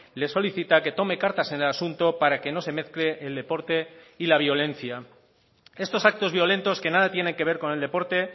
le solicita que tome cartas en el asunto para que no se mezcle el deporte y la violencia estos actos violentos que nada tienen que ver con el deporte